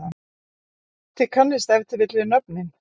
þið kannist ef til vill við nöfnin?